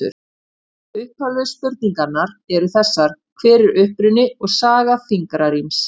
Upphaflegu spurningarnar eru þessar: Hver er uppruni og saga fingraríms?